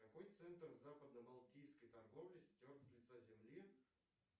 какой центр западно балтийской торговли стерт с лица земли